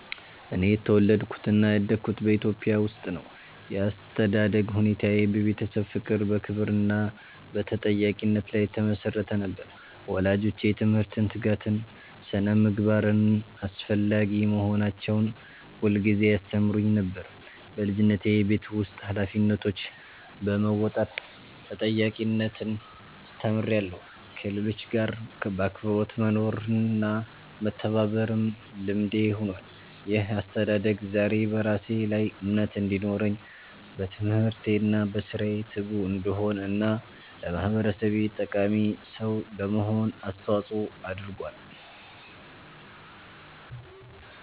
እኔ የተወለድኩትና ያደግኩት በኢትዮጵያ ውስጥ ነው። ያስተዳደግ ሁኔታዬ በቤተሰብ ፍቅር፣ በክብር እና በተጠያቂነት ላይ የተመሰረተ ነበር። ወላጆቼ ትምህርትን፣ ትጋትን እና ስነ-ምግባርን አስፈላጊ መሆናቸውን ሁልጊዜ ያስተምሩኝ ነበር። በልጅነቴ የቤት ውስጥ ኃላፊነቶችን በመወጣት ተጠያቂነትን ተምሬያለሁ፣ ከሌሎች ጋር በአክብሮት መኖርና መተባበርም ልምዴ ሆኗል። ይህ አስተዳደግ ዛሬ በራሴ ላይ እምነት እንዲኖረኝ፣ በትምህርቴ እና በሥራዬ ትጉ እንድሆን እና ለማህበረሰቤ ጠቃሚ ሰው ለመሆን አስተዋጽኦ አድርጓል።